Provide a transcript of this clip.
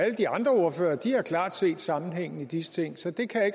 de andre ordførere har klart set sammenhængen i disse ting så det kan jeg